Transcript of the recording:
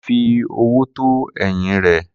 Kunle fi ọwọ́ tọ́ ẹ̀yìn rẹ̀.